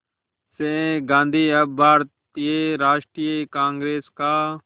से गांधी अब भारतीय राष्ट्रीय कांग्रेस का